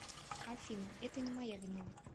афина это не моя вина